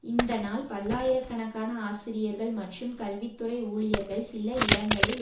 இந்த நாள் பல்லாயிர கணக்கான ஆசிரியர்கள் மற்றும் கல்வி துறை ஊழியர்கள் சில இடங்களில்